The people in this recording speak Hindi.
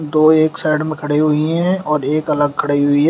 दो एक साइड में खड़े हुई हैं और एक अलग खड़े हुई है।